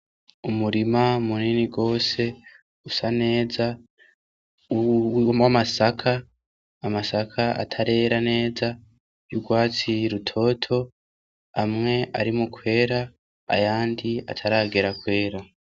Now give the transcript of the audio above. Umurima munini gose usa neza w'amasaka atarera neza y'urwatsi rubisi rutoto, amwe ari mu kwera ayandi ataragera kwera.